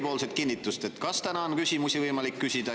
Tahan teilt kinnitust, kas täna on küsimusi võimalik küsida.